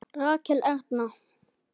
Rakel Erna.